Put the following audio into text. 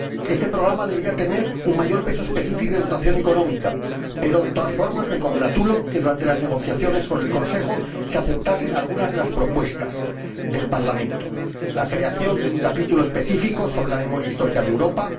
Este programa debería tener un mayor peso específico de dotación económica, pero, de todas formas, me congratulo de que, durante las negociaciones con el Consejo, se aceptasen algunas de las propuestas del Parlamento, como la creación de un capítulo específico sobre la memoria histórica de Europa.